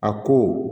A ko